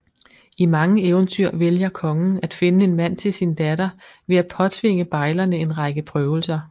I mange eventyr vælger kongen at finde en mand til sin datter ved at påtvinge bejlerne en række prøvelser